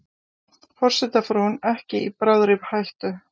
Forsetafrúin ekki í bráðri hættu